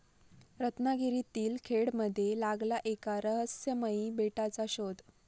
रत्नागिरीतील खेडमध्ये लागला एका रहस्यमयी बेटाचा शोध